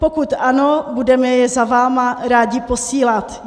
Pokud ano, budeme je za vámi rádi posílat.